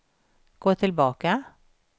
gå tillbaka